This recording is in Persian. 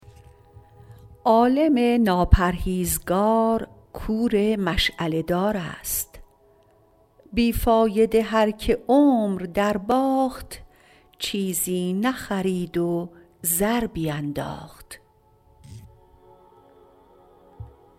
عالم ناپرهیزگار کور مشعله دار است بی فایده هر که عمر در باخت چیزی نخرید و زر بینداخت